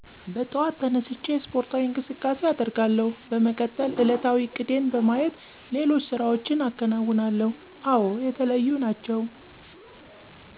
በጠዋት ተነስቸ አስፖርታዊ እቅሳቃሴ አደርጋለሁ፣ በመቀጠል ዕለታዊ እቅዴን በማየት ሌሎች ስራዎችን አከነውናለሁ፤ አወ የተለዩ ናቸው።